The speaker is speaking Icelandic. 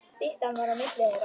Styttan var á milli þeirra.